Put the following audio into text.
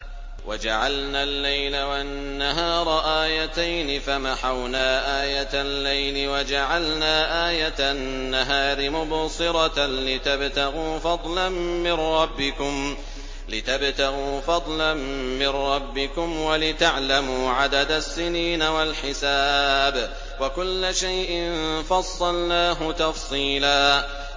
وَجَعَلْنَا اللَّيْلَ وَالنَّهَارَ آيَتَيْنِ ۖ فَمَحَوْنَا آيَةَ اللَّيْلِ وَجَعَلْنَا آيَةَ النَّهَارِ مُبْصِرَةً لِّتَبْتَغُوا فَضْلًا مِّن رَّبِّكُمْ وَلِتَعْلَمُوا عَدَدَ السِّنِينَ وَالْحِسَابَ ۚ وَكُلَّ شَيْءٍ فَصَّلْنَاهُ تَفْصِيلًا